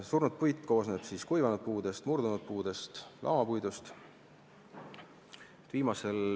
Surnud puit koosneb kuivanud puudest, murdunud puudest ehk lamapuidust.